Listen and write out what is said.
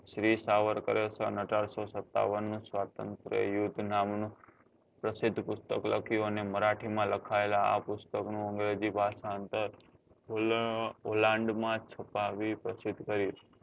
શ્રી સાવરકર સન અઢારસો સત્તાવન નું સ્વાતંત્ર યુદ્ધ નામ નું પ્રશિધ પુસ્તક લખ્યું અને મારાથી માં લખાયેલા આ પુસ્તક નું ભાષાંતર માં છુપાવી પછીત કર્યું